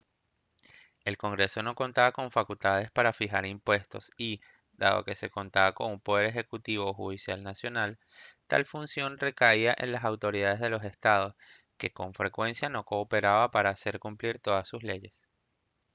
el congreso no contaba con facultades para fijar impuestos y dado que se contaba con un poder ejecutivo o judicial nacional tal función recaía en las autoridades de los estados que con frecuencia no cooperaban para hacer cumplir todas sus leyes